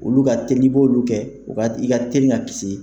Olu ka teli n'i b'olu kɛ u ka i ka teli ka kisi.